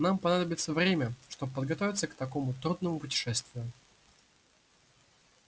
нам понадобится время чтобы подготовиться к такому трудному путешествию